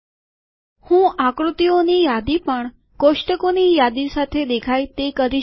હું આકૃતિઓ ની યાદી પણ કોષ્ટકો ની યાદી સાથે દેખાય તે કરી શકું છું